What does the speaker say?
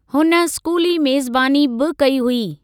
हुन स्कूली मेज़बानी बि कई हुई।